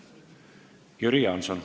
Jüri Jaanson.